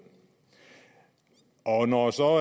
og når så